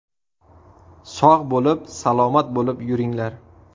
Sog‘ bo‘lib, salomat bo‘lib yuringlar.